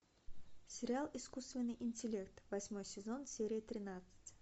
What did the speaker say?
сериал искусственный интеллект восьмой сезон серия тринадцать